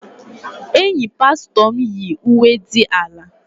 Enyi pastọ m yi uwe dị ala.